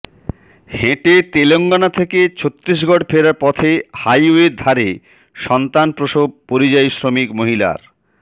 হেঁটে তেলঙ্গনা থেকে ছত্তিসগঢ় ফেরার পথে হাইওয়ের ধারে সন্তান প্রসব পরিযায়ী শ্রমিক মহিলার